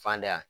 Fan da